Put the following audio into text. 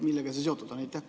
Millega see seotud on?